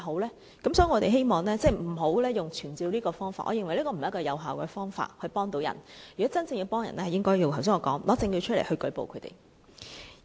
因此，我們希望不要以傳召這方法，我覺得這不是助人的有效方法，如果真正要助人，應如我剛才所說提出證據舉報他們。